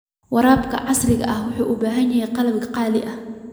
Waraabka casriga ahi wuxuu u baahan yahay qalab qaali ah.